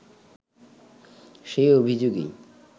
সেই অভিযোগেই